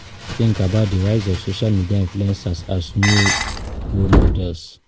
Wetin you think about di rise of social media influcers as new role models?